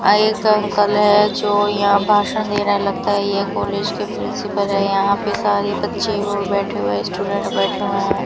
एक अंकल है जो यहां भाषण दे रहे हैं लगता है यह कॉलेज के प्रिंसिपल है यहां पे सारे बच्चे वो बैठे हुए हैं स्टूडेंट बैठे हुए हैं।